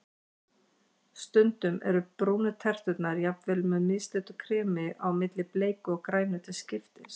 Stundum eru brúnu terturnar jafnvel með mislitu kremi á milli, bleiku og grænu til skiptis.